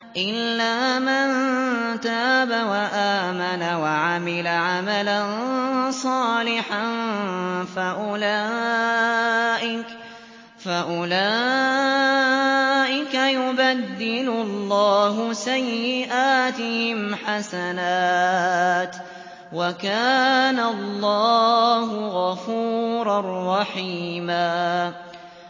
إِلَّا مَن تَابَ وَآمَنَ وَعَمِلَ عَمَلًا صَالِحًا فَأُولَٰئِكَ يُبَدِّلُ اللَّهُ سَيِّئَاتِهِمْ حَسَنَاتٍ ۗ وَكَانَ اللَّهُ غَفُورًا رَّحِيمًا